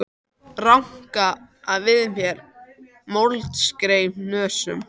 Ranka við mér með moldarkeim í nösum.